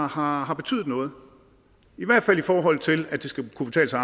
har har betydet noget i hvert fald i forhold til at det skal kunne betale sig